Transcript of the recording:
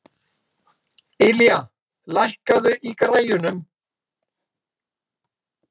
Ylja, lækkaðu í græjunum.